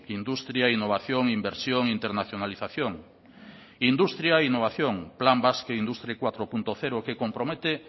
industria innovación inversión e internacionalización industria e innovación plan basque industry cuatro punto cero que compromete